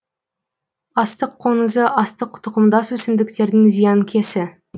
астық қоңызы астық тұқымдас өсімдіктердің зиянкесі